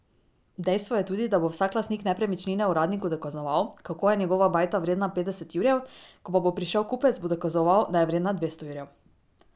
Dejstvo je tudi, da bo vsak lastnik nepremičnine uradniku dokazoval, kako je njegova bajta vredna petdeset jurjev, ko pa bo prišel kupec, bo dokazoval, da je vredna dvesto jurjev.